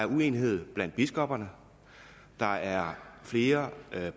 uenighed blandt biskopperne der er flere